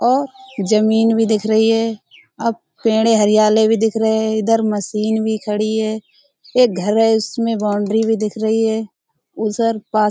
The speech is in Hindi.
और जमीन भी दिख रही है और पेड़े हरियाले भी दिख रहे है इधर मशीन भी खड़ी है। एक घर है उसमें बाउंड्री भी दिख रही है। उधर--